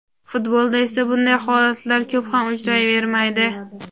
Futbolda esa bunday holatlar ko‘p ham uchrayvermaydi.